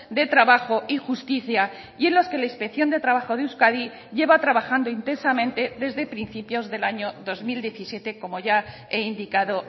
de trabajo y justicia y en los que la inspección de trabajo de euskadi lleva trabajando intensamente desde principios del año dos mil diecisiete como ya he indicado